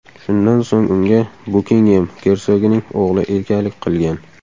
Shundan so‘ng unga Bukingem gersogining o‘g‘li egalik qilgan.